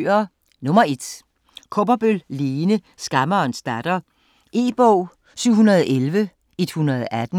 Kaaberbøl, Lene: Skammerens datter E-bog 701118